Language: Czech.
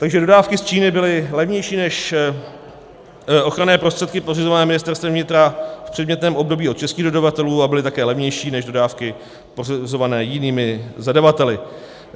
Takže dodávky z Číny byly levnější než ochranné prostředky pořizované Ministerstvem vnitra v předmětném období od českých dodavatelů a byly také levnější než dodávky pořizované jinými zadavateli.